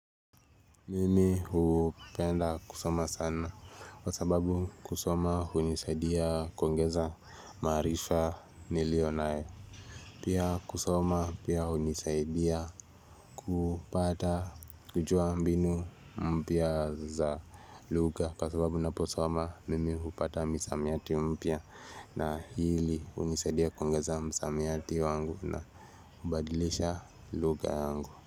Mimi upenda kusoma sana Kwa sababu kusoma unisaidia koengeza maarifa nilionayo Pia kusoma pia unisaidia kupata kujua mbinu mpya za lugha Kwa sababu naposoma mimi upata msamiati mpya na hili unisaidia koengeza msamiati wangu na ubadilisha lugha yangu.